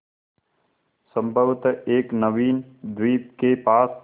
संभवत एक नवीन द्वीप के पास